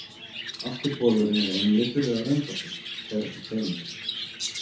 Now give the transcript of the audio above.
Afturbolurinn er einlitur eða röndóttur, fer eftir tegundum.